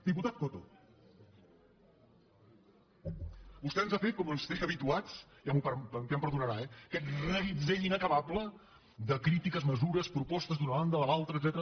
diputat coto vostè ens ha fet com ens té ja habituats ja em perdonarà eh aquest reguitzell inacabable de crítiques mesures propostes d’una banda de l’altra etcètera